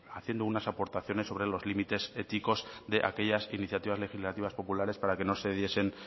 haciendo unas aportaciones sobre los límites éticos de aquellas iniciativas legislativas populares para que no se diesen